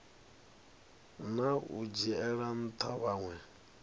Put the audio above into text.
na u dzhiela ntha vhanwe